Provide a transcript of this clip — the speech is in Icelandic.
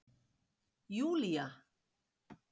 Júlía